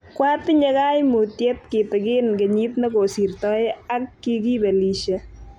Kwatinye kaimutiet kitigin kenyit ne kosirtoi ak kikibelishe.